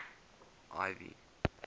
ivy